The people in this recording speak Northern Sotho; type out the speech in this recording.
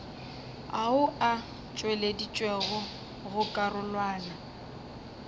ao a tšweleditšwego go karolwana